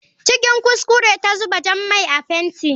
Cikin kuskure ta zuba jan mai a fenti.